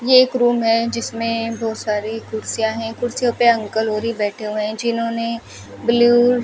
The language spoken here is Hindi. ये एक रूम है जिसमें बहुत सारी कुर्सियां हैं कुर्सियों पर अंकल होरी बैठे हुए हैं जिन्होंने ब्लू --